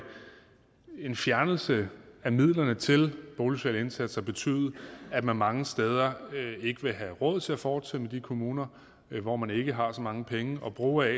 en fjernelse af midlerne til boligsociale indsatser betyde at man mange steder ikke vil have råd til at fortsætte med de kommuner hvor man ikke har så mange penge at bruge